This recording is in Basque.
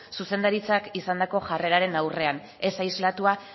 zuzendaritzak izandako jarreraren aurrean ez aislatua